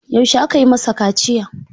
Yaushe aka yi masa kaciya?